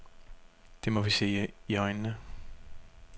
Det må vi se i øjnene.